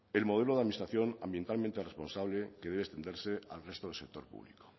el modelo de administración ambientalmente responsable que debe entenderse al resto del sector público